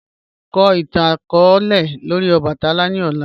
Ka itan itan-akọọlẹ lori obatala ni ọla.